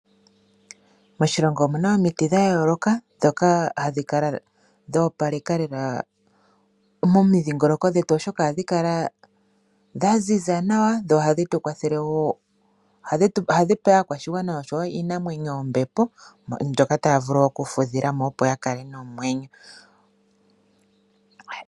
Moshilongo omuna omiti dhayooloka ndhoka hadhi kala dhoopaleka lela momindhingoloko dhetu oshoka ohadhi kala dha ziza nawa, dho ohadhi tukwathele nohadhi pe aakwashigwana oshowoo iinamwenyo ombepo ndjoka taya vulu okufudhilamo opo yakale nomwenyo.